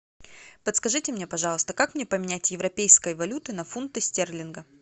подскажите мне пожалуйста как мне поменять европейской валюты на фунты стерлинга